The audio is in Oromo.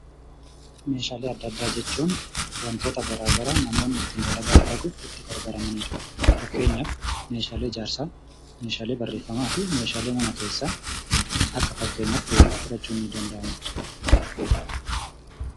Meeshaalee adda addaa jechuun wantoota garaa garaa namoonni ittiin dalagaa dalaguuf itti gargaaramanidha. Fakkenyaaf : meeshaalee ijaarsaa, meeshaalee barreeffamaa fi meeshaalee mana keessaa akka fakkeenyattii fudhachuun ni danda'ama.